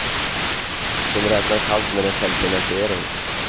De räknar kallt med en självfinansiering.